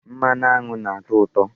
Mmanụ aṅụ na-atọ ụtọ.